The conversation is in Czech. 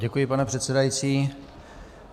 Děkuji, pane předsedající.